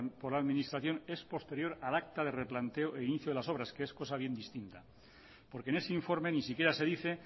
por la administración es posterior al acta de replanteo e inicio de las obras que es cosa bien distinta porque en ese informe ni siquiera se dice